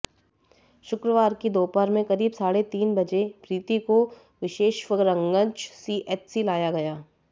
शुक्रवार की दोपहर में करीब साढ़े तीन बजे प्रीति को विशेश्वरगंज सीएचसी लाया गया